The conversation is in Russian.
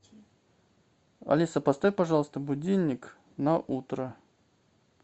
алиса поставь пожалуйста будильник на утро